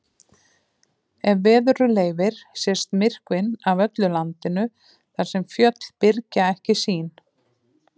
Ef veður leyfir sést myrkvinn af öllu landinu þar sem fjöll byrgja ekki sýn.